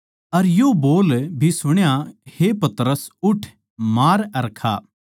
अर यो बोल भी सुण्या हे पतरस उठ मार अर खा